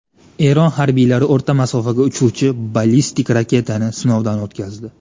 Eron harbiylari o‘rta masofaga uchuvchi ballistik raketani sinovdan o‘tkazdi.